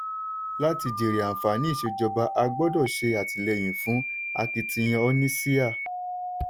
láti jèrè àǹfààní ìṣèjọba a gbọ́dọ̀ ṣe àtìlẹ́yìn fún akitiyan oníṣíà.